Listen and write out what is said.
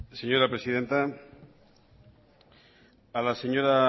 señora presidenta a la señora